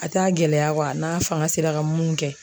A t'a gɛlɛya n'a fanga sera ka mun kɛ